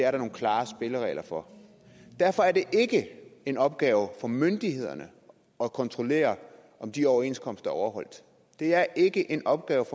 er der nogle klare spilleregler for derfor er det ikke en opgave for myndighederne at kontrollere om de overenskomster er overholdt det er ikke en opgave